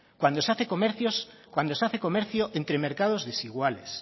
cuando se hace comercio entre mercados desiguales